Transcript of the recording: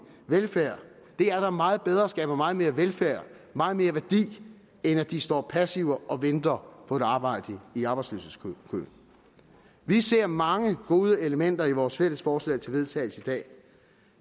velfærd det er da meget bedre og skaber meget mere velfærd meget mere værdi end at de står passive og venter på et arbejde i arbejdsløshedskøen vi ser mange gode elementer i vores fælles forslag til vedtagelse i dag